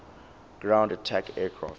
ground attack aircraft